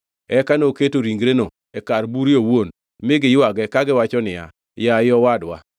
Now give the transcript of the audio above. Eka noketo ringreno e kar bure owuon mi giywage kagiwacho niya, “Yaye, owadwa!”